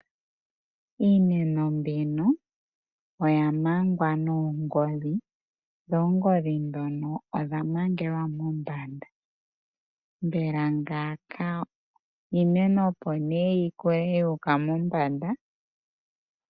Iimeno mbino oya mangwa noongodhi, dho oongodhi ndhono odha mangelwa mombanda, mbela ngaaka iimeno opo nee yi koye yuuka mombanda.